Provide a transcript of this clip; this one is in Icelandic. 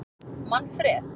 Manfreð